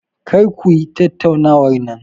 Kar ku yi tattaunawar anan.